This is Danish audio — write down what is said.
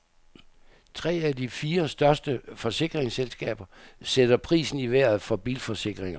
Tre af de fire største forsikringsselskaber sætter prisen i vejret for bilforsikringer.